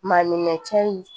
Maninka cɛ in